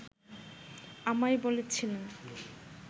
আমায় বলেছিলেন